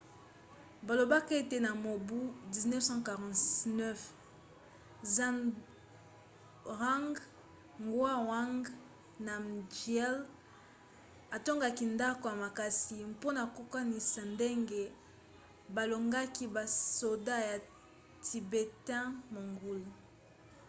balobaka ete na mobu 1649 zhabdrung ngawang namgyel atongaka ndako ya makasi mpona kokanisa ndenge balongaki basoda ya tibetain-mongol